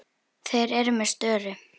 Þeir eru með störu.